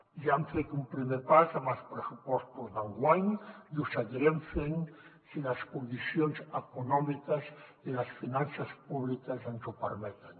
i ja hem fet un primer pas amb els pressupostos d’enguany i ho seguirem fent si les condicions econòmiques i les finances públiques ens ho permeten